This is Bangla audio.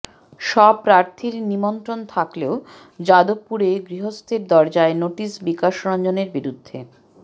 সব প্রার্থীর নিমন্ত্রণ থাকলেও যাদবপুরে গৃহস্থের দরজায় নোটিস বিকাশরঞ্জনের বিরুদ্ধে